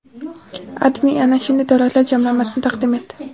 AdMe ana shunday davlatlar jamlanmasini taqdim etdi .